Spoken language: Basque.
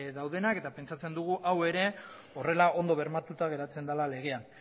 daudenak eta pentsatzen dugu hau ere horrela ondo bermatuta geratzen dela legean